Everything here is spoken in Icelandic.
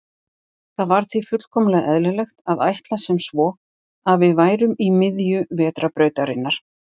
Það var því fullkomlega eðlilegt að ætla sem svo að við værum í miðju Vetrarbrautarinnar.